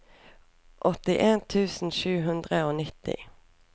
åttien tusen sju hundre og nitti